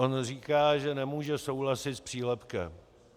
On říká, že nemůže souhlasit s přílepkem.